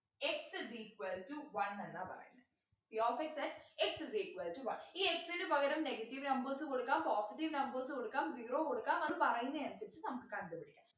x is equal to one എന്നാ പറയുന്നേ p of x at x is equal to one ഈ x നു പകരം negative numbers കൊടുക്കാം positive numbers കൊടുക്കാം zero കൊടുക്കാം അത് പറയുന്നയനുസരിച്ച് നമുക്ക് കണ്ടുപിടിക്കാം